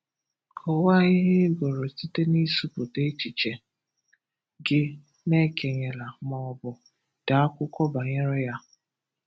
Kọwaa ihe ị gụrụ site na ịsụ̀pụta echiche gị na ékènyèlà ma ọ bụ dee akwụkwọ banyere ya.